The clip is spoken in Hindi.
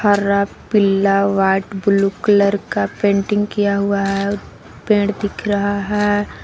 हरा पीला व्हाट ब्लू कलर का पेंटिंग किया हुआ है पेड़ दिख रहा है।